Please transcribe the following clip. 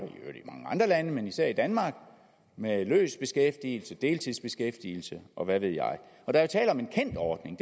og lande men især i danmark med løs beskæftigelse deltidsbeskæftigelse og hvad ved jeg der er tale om en kendt ordning